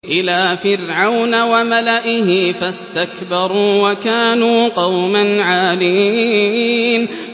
إِلَىٰ فِرْعَوْنَ وَمَلَئِهِ فَاسْتَكْبَرُوا وَكَانُوا قَوْمًا عَالِينَ